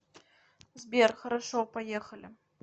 сбер хорошо поехали